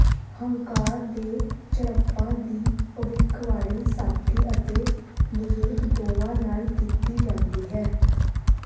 ਹੰਕਾਰ ਦੇ ਝੜਪਾਂ ਦੀ ਭਵਿੱਖਬਾਣੀ ਸਾਥੀ ਅਤੇ ਬਜ਼ੁਰਗ ਦੋਵਾਂ ਨਾਲ ਕੀਤੀ ਜਾਂਦੀ ਹੈ